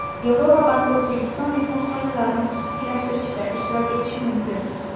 Yevropa banki O‘zbekiston mehmonxonalarini xususiylashtirishda ishtirok etishi mumkin.